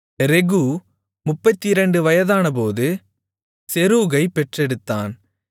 ரெகூ 32 வயதானபோது செரூகைப் பெற்றெடுத்தான்